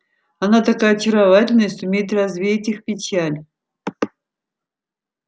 она такая очаровательная сумеет развеять их печаль